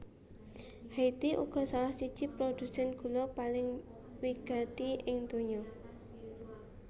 Haiti uga salah siji produsèn gula paling wigati ing donya